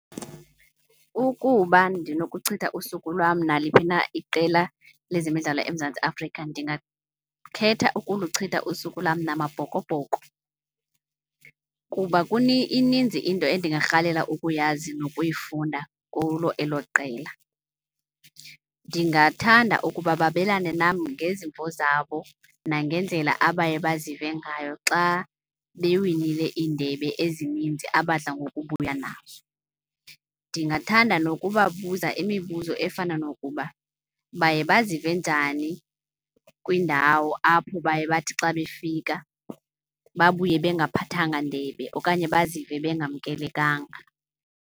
Ukuba ndinokuchitha usuku lwam naliphina iqela lezemidlalo eMzantsi Afrika ndingakhetha ukuluchitha usuku lwam namaBhokoBhoko kuba ininzi into endingarhalela ukuyazi nokuyifunda kulo elo qela. Ndingathanda ukuba babelane nam ngezimvo zabo nangendlela abaye bazive ngayo xa bewinile iindebe ezininzi abadla ngokubuya nazo. Ndingathanda nokubabuza imibuzo efana nokuba, baye bazive njani kwiindawo apho baye bathi xa befika babuye bengaphathanga ndebe okanye bazive bengamkelekanga.